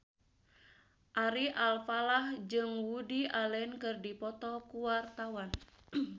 Ari Alfalah jeung Woody Allen keur dipoto ku wartawan